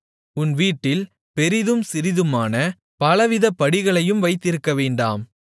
உன் வீட்டில் பெரிதும் சிறிதுமான பலவித படிகளையும் வைத்திருக்கவேண்டாம்